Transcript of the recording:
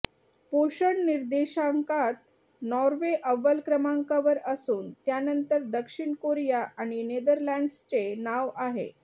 पोषण निर्देशांकात नॉर्वे अव्वल क्रमांकावर असून त्यानंतर दक्षिण कोरिया आणि नेदरलॅँड्सचे नाव आहे